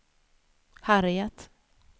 Harriet